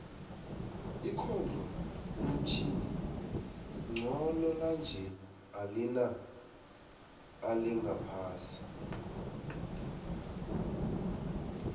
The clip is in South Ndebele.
ikhondlo lomtjhini nqondo lanje alina alingaphasi